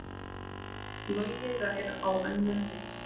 Logi rær á önnur mið